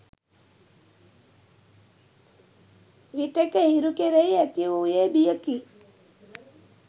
විටෙක හිරු කෙරෙහි ඇති වූයේ බියකි